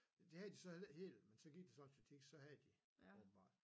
Men det havde de så heller ikke helt men så gik der så et stykke tid så havde de åbenbart